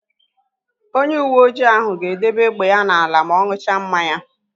Onyeuweoji ahụ ga-edebe égbè ya n'ala ma ọ n̄ụcha mmanya.